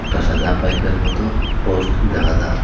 একটা সাদা পাইপের মতো পোস্ট দেখা যার--